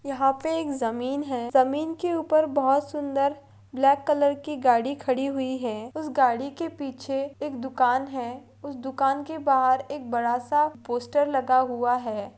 यहा पे एक जमीन है जमीन के ऊपर बोहत सुंदर ब्लॅक कलर की गाड़ी खड़ी हुई है उस गाड़ी के पीछे एक दुकान है उस दुकान के बाहर एक बड़ासा पोस्टर लगा हुआ है।